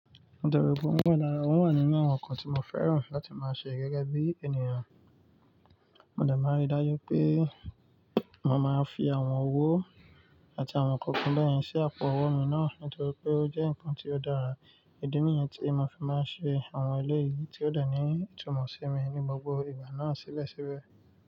Nítorí pé ó múyan dára, won wà nínú àwọn nǹkan tí mo fẹ́ràn láti máa ṣe gẹ́gẹ́ bí ènìyàn. Mo de máa n rí dájú pé mo máa n fi àwọn owó àti àwọn nǹkan kan bẹ́yẹ̀n sí àpò owó mi náà nítorí pé ó jẹ́ nǹkan tí ó dára. Idi nìyẹn tí n ma fi máa ń ṣe àwọn eléyìí tí ó de ní ìtumọ̀ sí mi ní gbogbo ìgbà náà síbẹ̀síbẹ̀